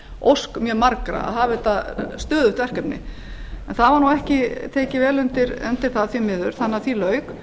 eiginlega ósk mjög margra að hafa þetta stöðugt verkefni en það var nú ekki tekið vel undir það því miður þannig að því lauk